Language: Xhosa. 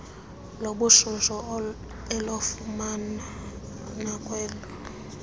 lobushushu elokufuma kwanelo